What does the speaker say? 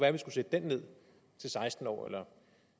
at vi skulle sætte den ned til seksten år eller